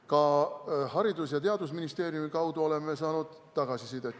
Ka Haridus- ja Teadusministeeriumi kaudu oleme saanud tagasisidet.